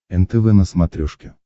нтв на смотрешке